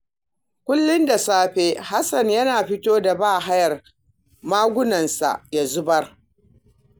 Kullum da safe Hasan yake fito da bahayar magunansa ya zubar